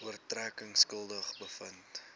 oortredings skuldig bevind